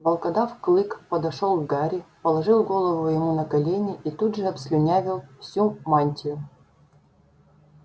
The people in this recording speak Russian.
волкодав клык подошёл к гарри положил голову ему на колени и тут же обслюнявил всю мантию